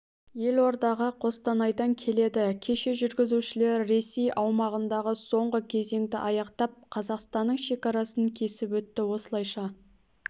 елордаға қостанайдан келеді кеше жүргізушілер ресей аумағындағы соңғы кезеңді аяқтап қазақстанның шекарасын кесіп өтті осылайша